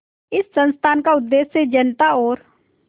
इस संस्थान का उद्देश्य जनता और